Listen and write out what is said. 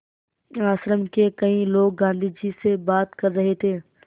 आश्रम के कई लोग गाँधी जी से बात कर रहे थे